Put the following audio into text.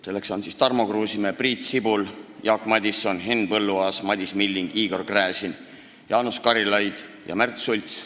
Need on Tarmo Kruusimäe, Priit Sibul, Jaak Madison, Henn Põlluaas, Madis Milling, Igor Gräzin, Jaanus Karilaid ja Märt Sults.